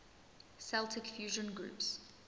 celtic fusion groups